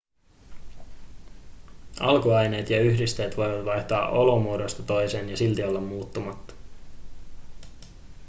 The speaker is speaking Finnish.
alkuaineet ja yhdisteet voivat vaihtaa olomuodosta toiseen ja silti olla muuttumatta